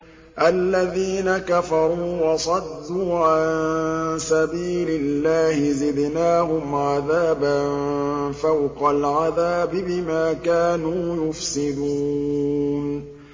الَّذِينَ كَفَرُوا وَصَدُّوا عَن سَبِيلِ اللَّهِ زِدْنَاهُمْ عَذَابًا فَوْقَ الْعَذَابِ بِمَا كَانُوا يُفْسِدُونَ